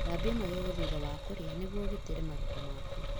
Gũthambia magego thutha wa kũrĩa nĩguo ũgitĩre magego maku.